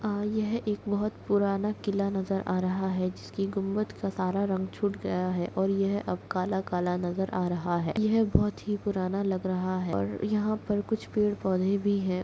और यह एक बहोत पुराना किला नज़र आ रहा है जिसकी गुम्मद का सारा रंग छूट गया है और यह अब काला-काला नज़र आ रहा है यह बहोत ही पुराना लग रहा है और यहाँ पर कुछ पेड़-पौधे भी है।